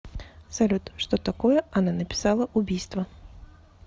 салют что такое она написала убийство